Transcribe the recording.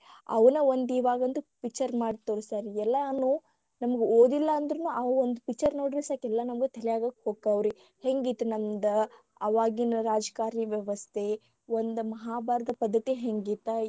ಅವನ್ನ ಒಂದ ಇವಾಗಂತೂ picture ಮಾಡಿ ತೋರಸ್ತಾರರಿ ಎಲ್ಲಾನು ನಮಗ ಓದಿಲ್ಲಾ ಅಂದ್ರೂನು ಆ ಒಂದು picture ನೋಡಿದ್ರ ಸಾಕ ಎಲ್ಲಾ ನಮಗ ತಲ್ಯಾಗ ಹೊಕ್ಕವರಿ ಹೆಂಗ ಇತ್ತ ನಮ್ಮದ ಆವಾಗಿನ ರಾಜಕಾರಣಿ ವ್ಯವಸ್ಥೆ ಒಂದ ಮಹಾಭಾರತ ಪದ್ಧತಿ ಹೆಂಗಿತ್ತ.